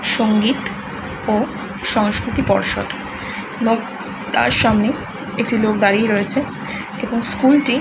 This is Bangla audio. সংগীত ও সংস্কৃতি পর্ষদ। এবং তার সামনে একটি লোক দাঁড়িয়ে রয়েছে এবং স্কুল -টি--